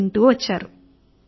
ప్రజలు వింటూ వెళ్లారు